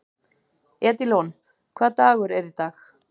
Edílon, hvaða dagur er í dag?